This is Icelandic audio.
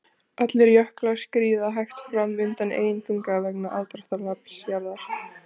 Allir jöklar skríða hægt fram undan eigin þunga vegna aðdráttarafls jarðar.